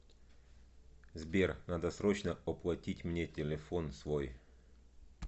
сбер надо срочно оплатить мне телефон свой